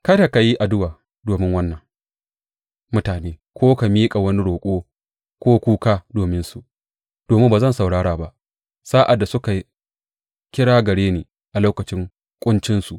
Kada ka yi addu’a domin wannan mutane ko ka miƙa wani roƙo ko kuka dominsu, domin ba zan saurara ba sa’ad da suka kira gare ni a lokacin ƙuncinsu.